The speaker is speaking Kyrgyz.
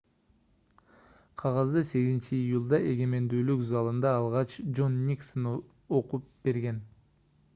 кагазды 8-июлда эгемендүүлүк залында алгач жон никсон окуп берген